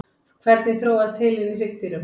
hvernig þróaðist heilinn í hryggdýrum